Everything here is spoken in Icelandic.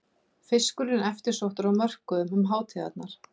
Fiskurinn eftirsóttur á mörkuðum um hátíðarnar